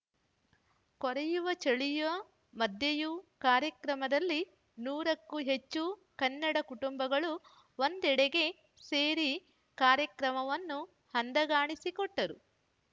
ಕೊರೆಯುವ ಚಳಿಯ ಮಧ್ಯೆಯೂ ಕಾರ್ಯಕ್ರಮದಲ್ಲಿ ನೂರಕ್ಕೂ ಹೆಚ್ಚು ಕನ್ನಡ ಕುಟುಂಬಗಳು ಒಂದೆಡೆಗೆ ಸೇರಿ ಕಾರ್ಯಕ್ರಮವನ್ನು ಅಂದಗಾಣಿಸಿಕೊಟ್ಟರು